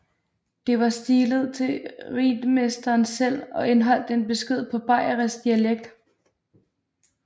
Det var stilet til ritmesteren selv og indeholdt en besked på bayerisk dialekt